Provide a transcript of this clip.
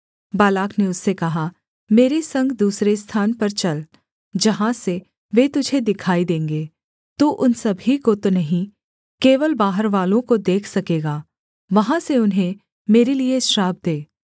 Balak ने उससे कहा मेरे संग दूसरे स्थान पर चल जहाँ से वे तुझे दिखाई देंगे तू उन सभी को तो नहीं केवल बाहरवालों को देख सकेगा वहाँ से उन्हें मेरे लिये श्राप दे